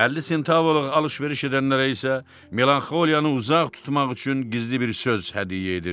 Əlli sentavaya alış-veriş edənlərə isə melanxoliyanı uzaq tutmaq üçün gizli bir söz hədiyyə edirdi.